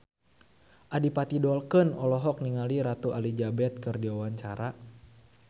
Adipati Dolken olohok ningali Ratu Elizabeth keur diwawancara